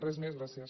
res més gràcies